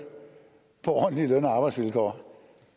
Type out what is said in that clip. på ordentlige løn og arbejdsvilkår